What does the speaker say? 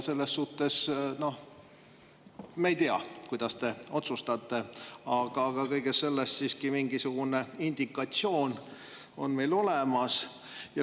Selles suhtes me ei tea, kuidas te otsustate, aga kõiges selles on mingisugune indikatsioon meil siiski olemas.